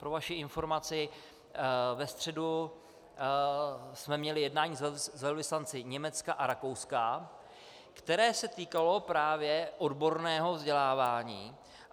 Pro vaši informaci, ve středu jsme měli jednání s velvyslanci Německa a Rakouska, které se týkalo právě odborného vzdělávání.